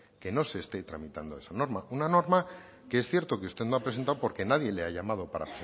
que no se está tramitando esa norma una norma que es cierto que usted no ha presentado porque nadie le ha llamado para